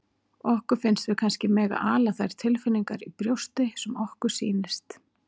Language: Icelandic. Okkur finnst við kannski mega ala þær tilfinningar í brjósti sem okkur sýnist.